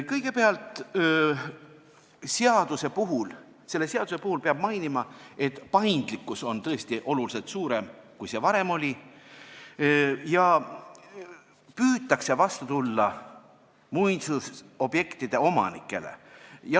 Kõigepealt, selle seaduse kohta peab mainima, et paindlikkus on tõesti oluliselt suurem, kui see varem oli, ja püütakse vastu tulla muinsusobjektide omanikele.